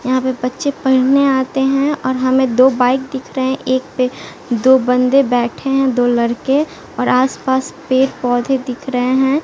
यहां पे बच्चे पढ़ने आते हैं और हमें दो बाइक दिख रहे हैं एक पे दो बंदे बैठे हैं दो लड़के और आस पास पेड़ पौधे दिख रहे हैं।